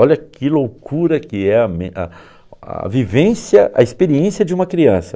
Olha que loucura que é a men a a vivência a experiência de uma criança.